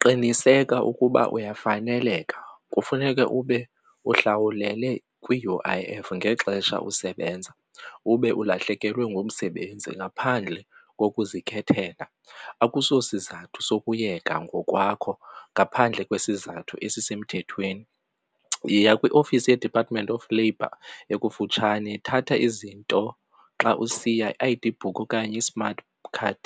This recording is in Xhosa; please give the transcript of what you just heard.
Qiniseka ukuba uyafaneleka kufuneke ube uhlawulele kwi-U_I_F ngexesha usebenza ube ulahlekelwe ngumsebenzi ngaphandle kokuzikhethela, akusosizathu sokuyeka ngokwakho ngaphandle kwesizathu esisemthethweni. Yiya kwiOfisi yeDepartment of Labour ekufutshane, thatha izinto xa usiya i-I_D book okanye i-smart card,